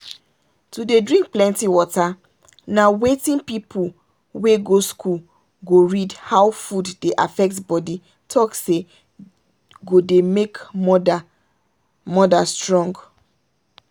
to dey drink plenty water na wetin people wey go school go read how food dey affect body talk say go dey make mother mother strong.